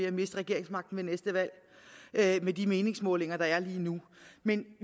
at miste regeringsmagten ved næste valg med de meningsmålinger der er lige nu men